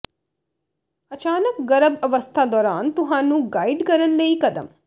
ਅਚਾਨਕ ਗਰਭ ਅਵਸਥਾ ਦੌਰਾਨ ਤੁਹਾਨੂੰ ਗਾਈਡ ਕਰਨ ਲਈ ਕਦਮ